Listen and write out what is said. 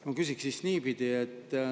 Ma küsiksin siis niipidi.